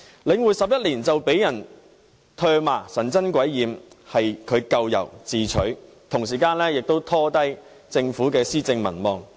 領匯成立11年就被人唾罵，神憎鬼厭，是咎由自取，同時亦拖累政府的施政和民望。